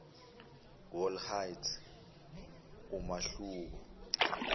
wall height umahluko